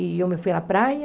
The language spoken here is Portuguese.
E eu fui à praia.